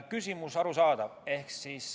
Küsimus on arusaadav.